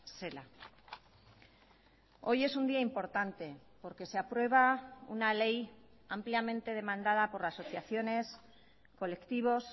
zela hoy es un día importante porque se aprueba una ley ampliamente demandada por asociaciones colectivos